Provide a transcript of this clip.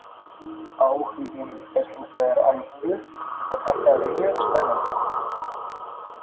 Áhuginn er hins vegar alvöru og þetta er mjög spennandi.